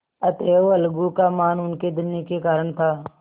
अतएव अलगू का मान उनके धन के कारण था